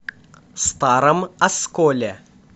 старом осколе